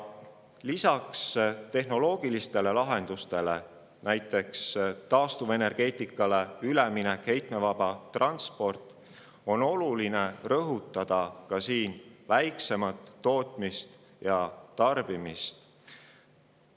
Lisaks tehnoloogilistele lahendustele ‒ näiteks üleminek taastuvenergeetikale, heitmevaba transport ‒ on oluline rõhutada ka väiksemat tootmist ja tarbimist.